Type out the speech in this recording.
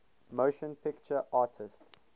motion picture arts